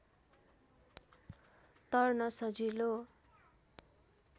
तर्न सजिलो